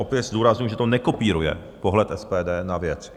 Opět zdůrazňuji, že to nekopíruje pohled SPD na věc.